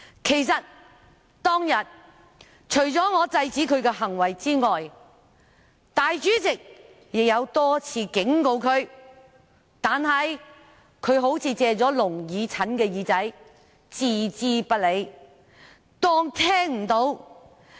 其實，當天除了我制止他的行為外，立法會主席亦多次警告他，但他好像"借了聾耳陳的耳朵"般置之不理，裝作聽不到。